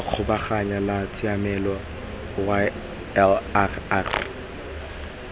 la kgabaganyo la tshiamelo ylrr